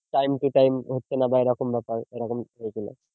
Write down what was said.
Time to time হচ্ছে না বা এরকম ব্যাপার এরকম হয়েছিল